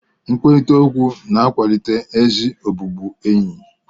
Nkwurịta okwu na-akwalite ezi ọbụbụenyi